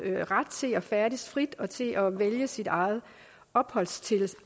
ret til at færdes frit og til at vælge sit eget opholdssted